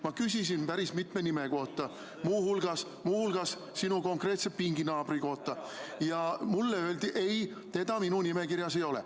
Ma küsisin päris mitme inimese kohta, muu hulgas sinu pinginaabri kohta, ja mulle öeldi: ei, teda minu nimekirjas ei ole.